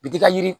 Bit'i ka yiri